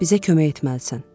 Bizə kömək etməlisən.